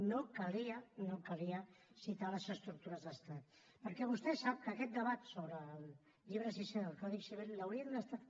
no calia no calia citar les estructures d’estat perquè vostè sap que aquest debat sobre el llibre sisè del codi civil l’hauríem d’estar